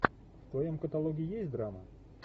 в твоем каталоге есть драма